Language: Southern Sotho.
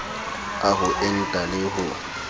a ho enta le ho